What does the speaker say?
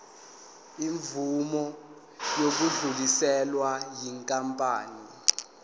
imvume yokudluliselwa yinkampani